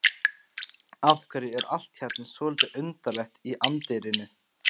Af hverju er allt hérna svolítið undarlegt í anddyrinu?